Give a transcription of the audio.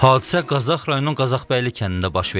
Hadisə Qazax rayonunun Qazaxbəyli kəndində baş verib.